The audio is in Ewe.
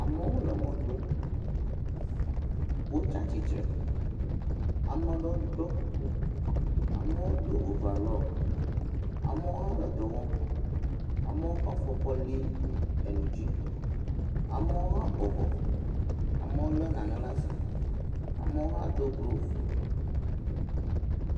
Amewo le mɔ ɖom wo tsi atsi tre amede wo dɔ kuku amewo do ovarɔ amewo hã le dɔwɔm amewo kɔ afɔ kɔ li nu dzi amewo hã bɔbɔ amewo hã wo le naɖe le asi amewo hã Do golove.